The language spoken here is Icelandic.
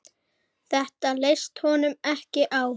Þetta leist honum ekki á.